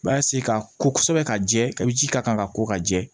Basi ka ko kosɛbɛ ka jɛ ka ji k'a kan ka ko ka jɛ